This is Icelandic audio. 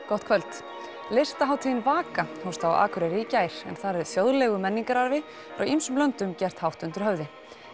gott kvöld listahátíðin Vaka hófst á Akureyri í gær en þar er þjóðlegum menningararfi frá ýmsum löndum gert hátt undir höfði